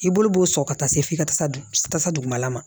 I bolo b'o sɔrɔ ka taa se f'i ka tasa dugumala ma